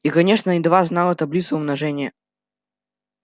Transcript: и конечно едва знала таблицу умножения